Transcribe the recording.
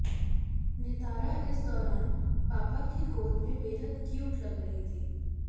नितारा इस दौरान पापा की गोद में बेहद क्यूट लग रही थी